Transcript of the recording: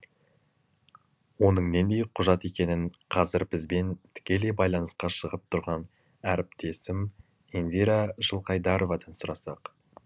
оның нендей құжат екенін қазір бізбен тікелей байланысқа шығып тұрған әріптесім индира жылқайдаровадан сұрасақ